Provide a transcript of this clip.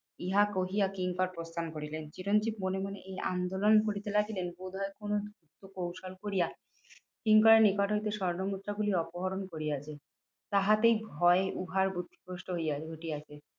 ইহা কহিয়া কিঙ্কর প্রস্থান করিলেন। এমন কি মনে মনে এই আন্দোলন করিতে লাগিলেন বোধহয় কোনো কৌশল করিয়া কিঙ্করের নিকট হইতে স্বর্ণমুদ্রাগুলি অপহরণ করিয়া দিই, তাহাতেই ভয় উহার বুদ্ধিভ্রষ্ট হইয়া ঘটিয়াছে।